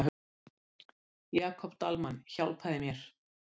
Svona. svona. sagði mamma huggandi.